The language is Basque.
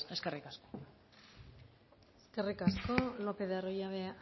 eskerrik asko eskerrik asko lopez de arroyabe